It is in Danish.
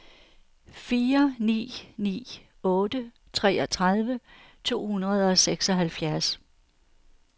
fire ni ni otte treogtredive to hundrede og seksoghalvfjerds